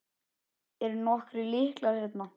Eru nokkrir lyklar hérna?